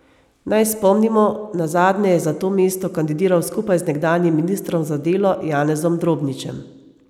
Naj spomnimo, nazadnje je za to mesto kandidiral skupaj z nekdanjim ministrom za delo Janezom Drobničem.